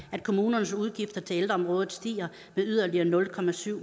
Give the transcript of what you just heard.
at kommunernes udgifter til ældreområdet stiger med yderligere nul